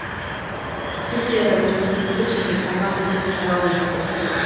түркияда президенттік және парламенттік сайлау өтті